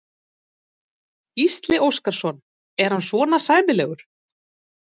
Gísli Óskarsson: Er hann svona sæmilegur?